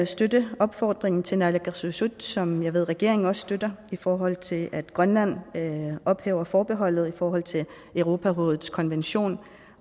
støtte opfordringen til naalakkersuisut som jeg ved regeringen også støtter i forhold til at grønland ophæver forbeholdet i forhold til europarådets konvention